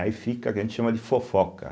Aí fica o que a gente chama de fofoca.